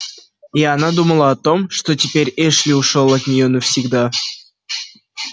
и она думала о том что теперь эшли ушёл от неё навсегда